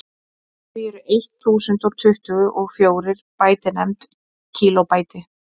því eru eitt þúsund og tuttugu og fjórir bæti nefnd kílóbæti